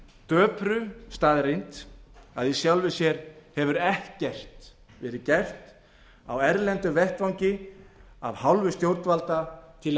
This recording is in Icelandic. döpru staðreynd að í sjálfu sér hefur ekkert verið gert á erlendum vettvangi af hálfu stjórnvalda til að